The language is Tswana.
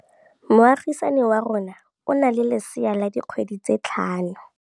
Moagisane wa rona o na le lesea la dikgwedi tse tlhano.